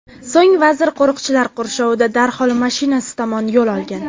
So‘ng vazir qo‘riqchilar qurshovida darhol mashinasi tomon yo‘l olgan.